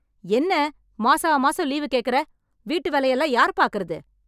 என்ன மாசா மாசம் லீவு கேக்கற, வீட்டு வேலை எல்லாம் யார் பாக்கறது